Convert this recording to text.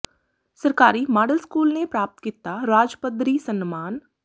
ਸਰਕਾਰੀ model school ਨੇ ਪ੍ਰਾਪਤ ਕੀਤਾ ਰਾਜ ਪੱਧਰੀ ਸਨਮਾਨ